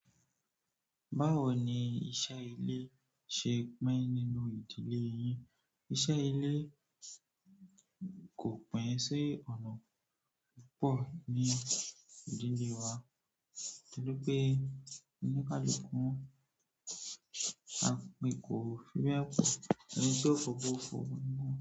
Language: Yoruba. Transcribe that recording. Báwo ni iṣẹ́ ilé ṣe pín nínú ìdílé yín? Iṣẹ́ ilé kò pín sí ọ̀nà púpọ̀ ní ìdílé wa, torí pé oníkálukú wa kò fi be, enití ó fo abo ọ fo.